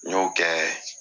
N y'o kɛ